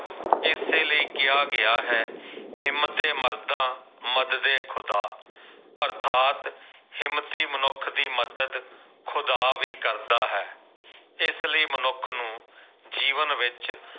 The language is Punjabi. ਇਸੇ ਲਈ ਕਿਹਾ ਗਿਆ ਹੈ ਹਿੰਮਤੇ ਮਰਦਾ ਮਦਦ ਏ ਖੁਦਾ ਅਰਥਾਤ ਹਿੰਮਤੀ ਮਨੁੱਖ ਦੀ ਮਦਦ ਖੁਦਾ ਵੀ ਕਰਦਾ ਹੈ ਇਸ ਲਈ ਮਨੁੱਖ ਨੂੰ ਜੀਵਨ ਵਿੱਚ